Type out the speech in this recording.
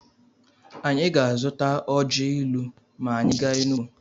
Anyị ga-azụta ọji ilu ma anyị gaa Enugwu.